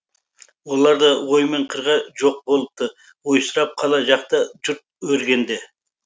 олар да ой мен қырға жоқ болыпты ойсырап қала жақта жұрт өргенде